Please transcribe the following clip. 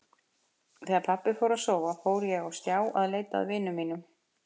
Þegar pabbi fór að sofa fór ég á stjá að leita að vinum mínum.